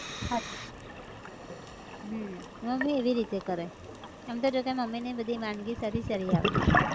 હાચ હમ mummy એવી રીતે કરે એમ તો જોકે mummy ને ય બધી વાનગી સારી સારી આવડે